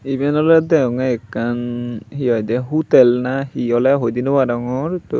eben ole degonge ekan hehoide hutel nahi he ole hoi de no parongor.